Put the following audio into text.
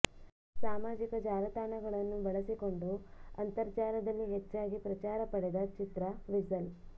ಸಾಮಾಜಿಕ ಜಾಲತಾಣಗಳನ್ನು ಬಳಸಿಕೊಂಡು ಅಂತರ್ಜಾಲದಲ್ಲಿ ಹೆಚ್ಚಾಗಿ ಪ್ರಚಾರ ಪಡೆದ ಚಿತ್ರ ವಿಜಲ್